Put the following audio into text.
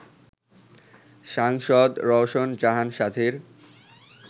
সাংসদ রওশন জাহান সাথীর